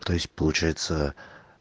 то есть получается